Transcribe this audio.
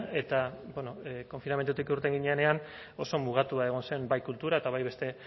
eta bueno konfinamendutik urten ginenean oso mugatua egon zen bai kultura eta bai beste